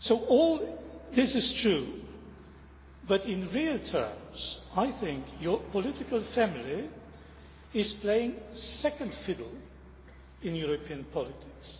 All this is true but, in real terms, I think your political family is playing second fiddle in European politics.